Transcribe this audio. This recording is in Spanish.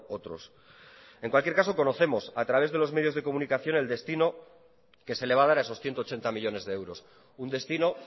otros en cualquier caso conocemos a través de los medios de comunicación el destino que se le va a dar a esos ciento ochenta millónes de euros un destino